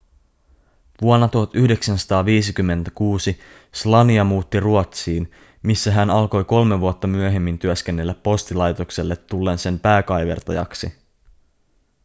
vuonna 1956 słania muutti ruotsiin missä hän alkoi kolme vuotta myöhemmin työskennellä postilaitokselle tullen sen pääkaivertajaksi